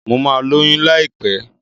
Mo ma lóyún láìpẹ́